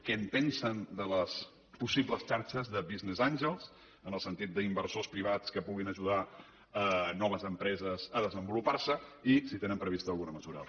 què en pensen de les possibles xarxes de business angelsversors privats que puguin ajudar noves empreses a desenvolupar se i si tenen prevista alguna mesura al respecte